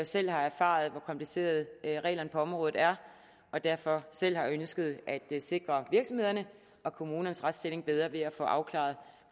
selv har erfaret hvor komplicerede reglerne på området er og derfor selv har ønsket at sikre virksomhedernes og kommunernes retsstilling bedre ved at få afklaret